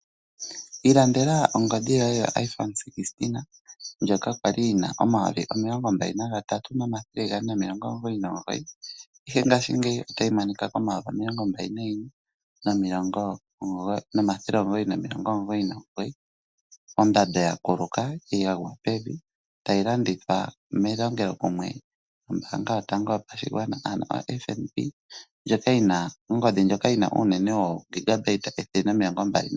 Ilandela ongodhi yoye yo iphone 16 ndjoka kwali yi na omayovi omilongo mbali na gatatu nomathele gane noondola omilongo omugoyi nomugoyi. Ihe ngashingeyi otayi monika komayovi omilongo mbali na yimwe nomathele omugoyi nomilongo omugoyi nomugoyi. Ondando ya kuluka ya gwa pevi tayi landithwa melongelokumwe nombaanga yo tango yo pashigwana ano o FNB. Ndjoka yi na ongodhi ndjoka yi na uunene woo gigabyte ethele nomilongo mbali na hetatu.